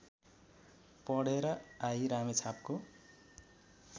पढेर आई रामेछापको